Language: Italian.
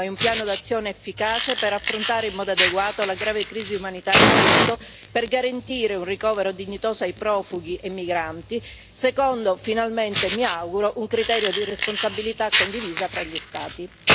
Si impongono allora un rinnovato impegno e un piano d'azione efficace per affrontare in modo adeguato la grave crisi umanitaria in atto, per garantire un ricovero dignitoso ai profughi e migranti, e in secondo luogo, finalmente mi auguro, un criterio di responsabilità condivisa fra gli Stati.